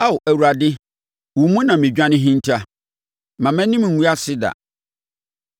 Ao Awurade, wo mu na me dwane hinta; mma mʼanim ngu ase da.